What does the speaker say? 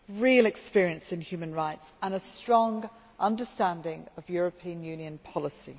real experience in human rights and a strong understanding of European Union policy.